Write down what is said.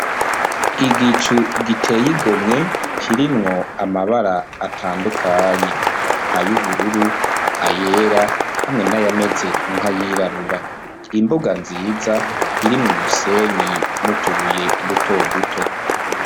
Igicu giteye igomwe, kirimwo amabara atandukanye: ay'ubururu, ayera hamwe n'ayameze nk'ayirabura, imbuga nziza irimwo umusenyi n'utubuye duto duto.